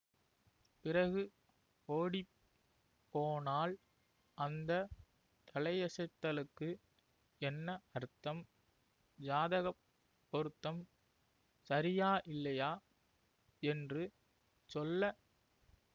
பிறகு ஓடி போனாள் அந்த தலையசைத்தலுக்கு என்ன அர்த்தம் ஜாதக பொருத்தம் சரியாயில்லையா யென்று சொல்ல